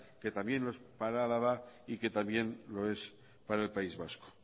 que también lo es para álava y que también lo es para el país vasco